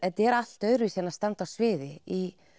þetta er allt öðruvísi en að standa á sviði í